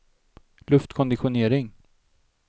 luftkonditionering